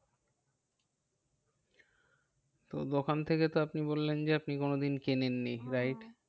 তো দোকান থেকে তো আপনি বললেন যে আপনি কোনোদিন কেনেন নি wright? হম